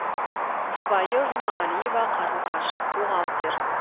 жұбайы жұмағалиева қарлығаш бухгалтер